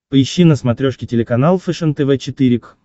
поищи на смотрешке телеканал фэшен тв четыре к